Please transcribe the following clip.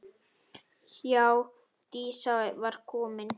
Já, Dísa var komin.